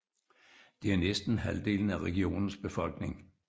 Det er næsten halvdelen af regionens befolkning